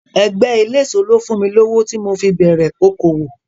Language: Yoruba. Ẹgbẹ́ eléso ló fún mi lówó tí mo fi bẹ̀rẹ̀ okòòwò.